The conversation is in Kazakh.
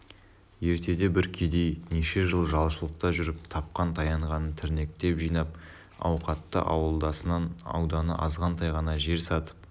ертеде бір кедей неше жыл жалшылықта жүріп тапқан-таянғанын тірнектеп жинап ауқатты ауылдасынан ауданы азғантай ғана жер сатып